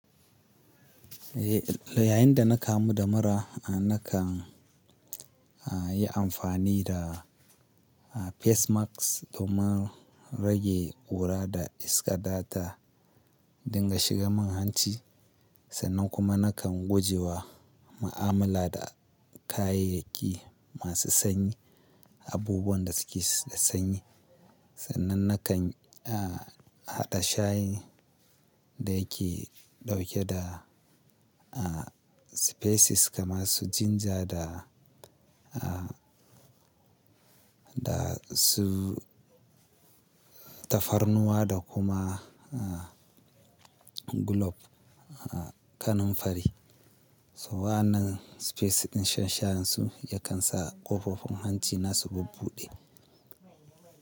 Eh, yayinda na kamu da mura, nakan yi amfani da facemask domin rage ƙura da iska data dinga shiga min hanci. Sannan kuma nakan guje wa ma'amala da kayayyaki masu sanyi, abubuwan da suke da sanyi. Sannan nakan haɗa shayin da yake ɗauke da spices kamar su ginger da, da su tafarnuwa da kuma a clove, kanunfari. Wannan spices ɗin shan shanyi su yakan sa ƙofofin hanci na su bubbuɗe.